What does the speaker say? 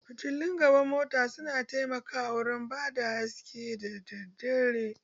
Fitillun gaban mota su na taimako wurin bada haske da dare